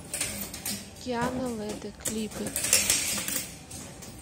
киана лэдэ клипы